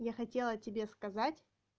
я хотела тебе сказать